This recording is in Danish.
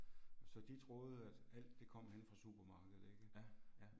Så de troede at alt det kom henne fra supermarkedet ikke